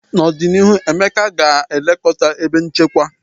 N'ọdịnihu, Emeka ga-elekọta ebe nchekwa.